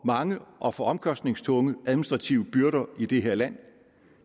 mange og for omkostningstunge administrative byrder i det her land